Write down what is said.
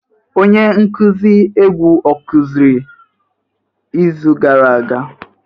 Onye nkuzi egwu ọ kụziri izu gara aga?